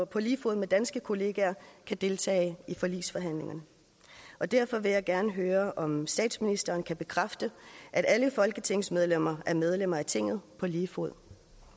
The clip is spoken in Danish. på lige fod med danske kollegaer kan deltage i forligsforhandlinger og derfor vil jeg gerne høre om statsministeren kan bekræfte at alle folketingsmedlemmer er medlemmer af tinget på lige fod